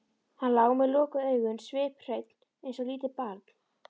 Hann lá með lokuð augun sviphreinn eins og lítið barn.